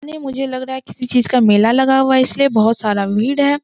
नहीं मुझे लग रहा है किसी चीज का मेला लगा हुआ है इसलिए बहुत सारा वीड है।